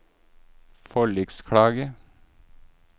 forliksklage